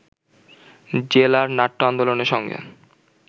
জেলার নাট্য আন্দোলনের সঙ্গে